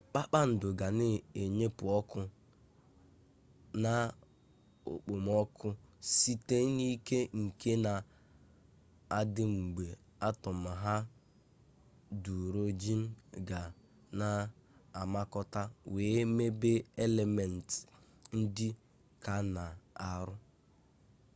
kpakpando ga na-enyepụ ọkụ na okpomọkụ site n'ike nke na-adị mgbe atọm haịdurojin ga na-amakọta wee mebe elementị ndị ka n'arọ